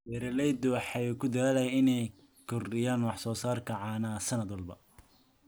Beeraleydu waxay ku dadaalaan inay kordhiyaan wax soo saarka caanaha sanad walba.